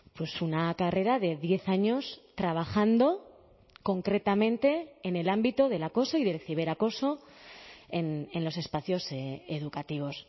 pues una carrera de diez años trabajando concretamente en el ámbito del acoso y del ciberacoso en los espacios educativos